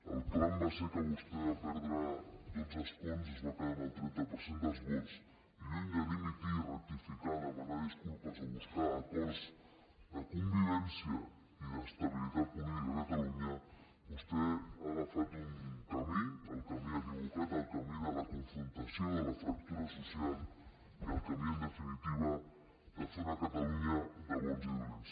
el clam va ser que vostè va perdre dotze escons es va quedar amb el trenta per cent dels vots i lluny de dimitir rectificar demanar disculpes o buscar acords de convivència i d’estabilitat política a catalunya vostè ha agafat un camí el camí equivocat el camí de la confrontació de la fractura social i el camí en definitiva de fer una catalunya de bons i dolents